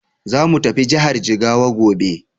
Zamu tafi jihar Jigawa gobe.